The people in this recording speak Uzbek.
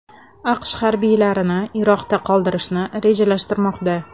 AQSh harbiylarini Iroqda qoldirishni rejalashtirmoqda.